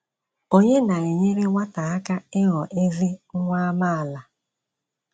Onye na - enyere nwata aka ịghọ ezi nwa amaala?